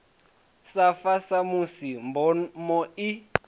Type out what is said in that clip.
sa fa samusi mboma i